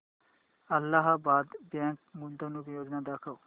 Allahabad bank गुंतवणूक योजना दाखव